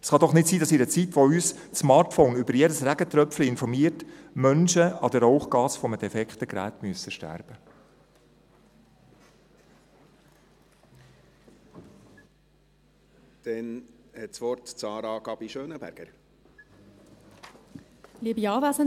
Es kann doch nicht sein, dass in einer Zeit, wo uns das Smartphone über jedes Regentröpfchen informiert, Menschen wegen eines defekten Geräts an Rauchgasen sterben müssen.